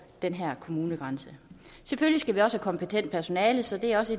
den her kommunegrænse selvfølgelig skal vi også have kompetent personale så det er også